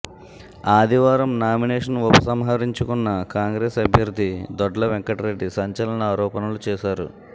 ఆదివారం నామినేషన్ ఉపసంహరించుకున్న కాంగ్రెస్ అభ్యర్థి దొడ్ల వెంకట్ రెడ్డి సంచలన ఆరోపణలు చేశారు